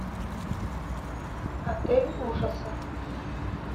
отель ужасов